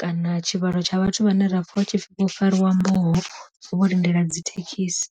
kana tshivhalo tsha vhathu vhane ra pfa hu tshipfi vho fariwa mboho vho lindela dzi thekhisi.